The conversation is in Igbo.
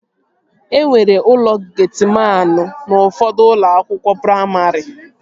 Enwere ụlọ getiman n'ufọdụ ụlọakwụkwọ praimarị